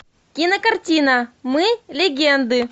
кинокартина мы легенды